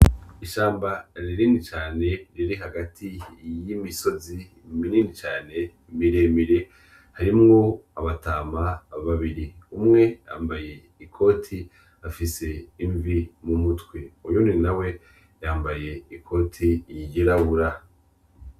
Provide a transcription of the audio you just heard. Ishamba rinini cane riri hagati y’imisozi minini cane miremire harimwo abatama babiri umwe bambaye ikoti afise imvi mu mutwe uyundi nawe yambaye ikoti ryirabura.